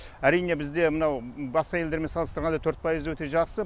әрине бізде мынау басқа елдермен салыстырғанда төрт пайыз өте жақсы